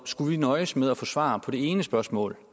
at nøjes med at få svar på det ene spørgsmål